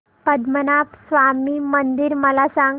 पद्मनाभ स्वामी मंदिर मला सांग